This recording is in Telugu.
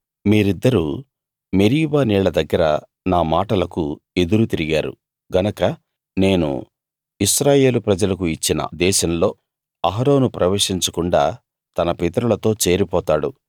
మీరిద్దరూ మెరీబా నీళ్ళ దగ్గర నా మాటలకు ఎదురు తిరిగారు గనక నేను ఇశ్రాయేలు ప్రజలకు ఇచ్చిన దేశంలో అహరోను ప్రవేశించకుండా తన పితరులతో చేరిపోతాడు